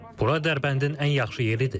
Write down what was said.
Bura Dərbəndin ən yaxşı yeridir.